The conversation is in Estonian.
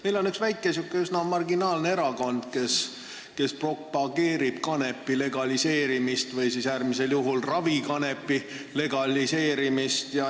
Meil on üks väike, sihuke üsna marginaalne erakond, kes propageerib kanepi legaliseerimist või äärmisel juhul ravikanepi legaliseerimist.